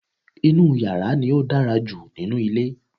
inú yàrá ni ó dára jù nínú ilé